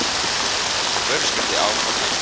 Vöruskipti áfram hagstæð